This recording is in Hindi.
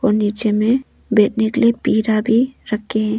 नीचे में बैठने के लिए पीरा भी रखें।